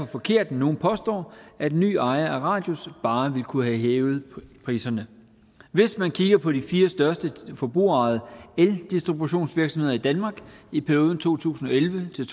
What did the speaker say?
forkert når nogle påstår at en ny ejer af radius bare ville kunne have hævet priserne hvis man kigger på de fire største forbrugerejede eldistributionsvirksomheder i danmark i perioden to tusind og elleve til